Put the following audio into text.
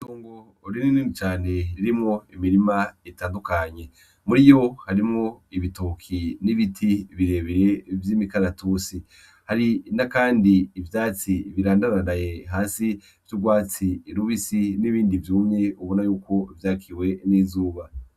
Itongo rinini cane ririmwo imirima itandukanye, muriyo harimwo ibitoke n'ibiti birebire vy'imikaratusi, hari kandi n'ivyatsi birandaranda hasi vy'urwatsi rubisi n'ibindi vyumye ubona yuko vyakiwe n'izuba.